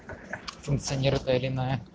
функционерная или иная